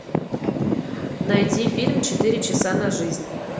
найди фильм четыре часа на жизнь